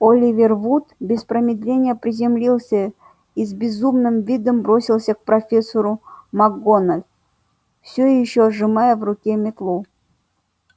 оливер вуд без промедления приземлился и с безумным видом бросился к профессору макгоналл всё ещё сжимая в руке метлу